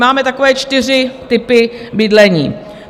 Máme takové čtyři typy bydlení.